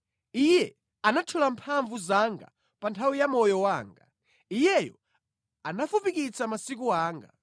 Iye anathyola mphamvu zanga pa nthawi ya moyo wanga; Iyeyo anafupikitsa masiku anga.